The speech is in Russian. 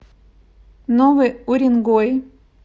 новый уренгой